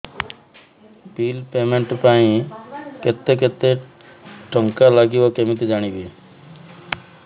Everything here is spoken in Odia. ବିଲ୍ ପେମେଣ୍ଟ ପାଇଁ କେତେ କେତେ ଟଙ୍କା ଲାଗିବ କେମିତି ଜାଣିବି